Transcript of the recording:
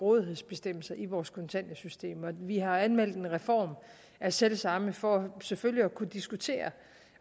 rådighedsbestemmelser i vores kontanthjælpssystem vi har anmeldt en reform af selv samme for selvfølgelig at kunne diskutere